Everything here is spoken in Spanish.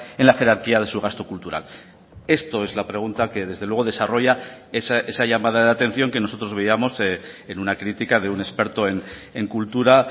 en la jerarquía de su gasto cultural esto es la pregunta que desde luego desarrolla esa llamada de atención que nosotros veíamos en una crítica de un experto en cultura